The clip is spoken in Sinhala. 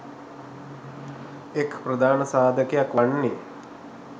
එක් ප්‍රධාන සාධකයක් වන්නේ